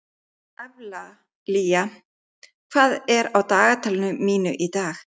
Evlalía, hvað er á dagatalinu mínu í dag?